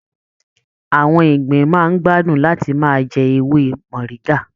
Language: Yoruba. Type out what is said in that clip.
Àwọn ìgbín máa n gbádùn láti máà jẹ ewé moringa.